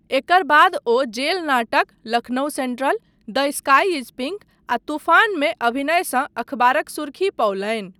एकर बाद ओ जेल नाटक 'Lucknow central', 'the sky is pink' आ 'तूफान' मे अभिनयसँ अखबारक सुर्खी पओलनि।